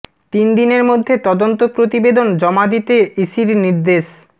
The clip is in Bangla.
তিন দিনের মধ্যে তদন্ত প্রতিবেদন জমা দিতে ইসির নির্দেশ